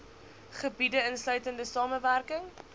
gebiede insluitende samewerking